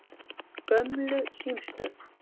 Gömlu símstöð